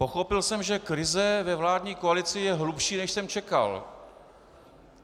Pochopil jsem, že krize ve vládní koalici je hlubší, než jsem čekal.